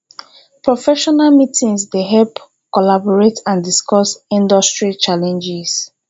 professional meetings dey help collaborate and discuss industry challenges